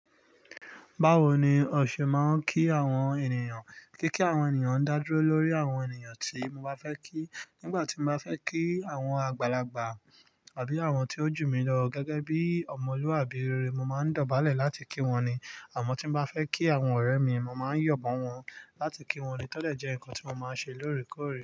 Báwo ni ọṣe máa ń kí àwọn ènìyàn? Kíkí àwọn ènìyàn ń dá dúró lórí àwọn ènìyàn tí mo bá fẹ́ kí. Nígbà tí mo bá fẹ́ kí àwọn àgbàlagbà àbí àwọn tí ó jù mí lọ gẹ́gẹ́ bí ọmọlúwàbí rere, mo máa ń dọ̀bálẹ̀ láti kí wọn ni. Àmọ́ tí mo bá fẹ́ kí àwọn ọ̀rẹ́ mi, mo máa ń yọ̀ọ̀ mo wọ́n láti kí wọn ni. To de jẹ́ nǹkan tí mo máa ń ṣe lóòrèkóòrè.